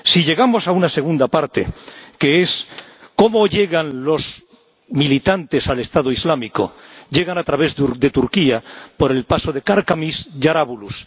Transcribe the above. Pasemos a una segunda parte ¿cómo llegan los militantes al Estado Islámico? Llegan a través de Turquía por el paso de Karkamış a Jarabulus.